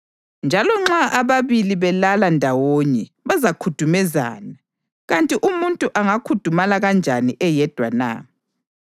Njalo nxa ababili belala ndawonye bazakhudumezana. Kanti umuntu angakhudumala kanjani eyedwa na?